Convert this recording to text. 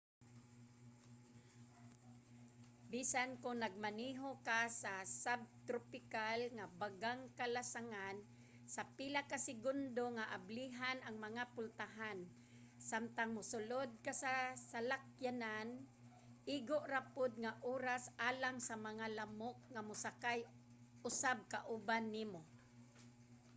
bisan kon nagmaneho ka sa subtropical nga bagang kalasangan sa pila ka segundo nga ablihan ang mga pultahan samtang mosulod ka sa salakyanan igo ra pud nga oras alang sa mga lamok nga mosakay usab kauban nimo